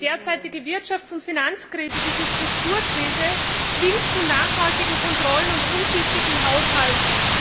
Die derzeitige Wirtschafts und Finanzkrise diese Strukturkrise zwingt zu nachhaltigen Kontrollen und umsichtigem Haushalten.